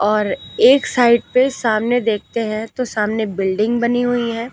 और एक साइड पे सामने देखते हैं तो सामने बिल्डिंग बनी हुई हैं।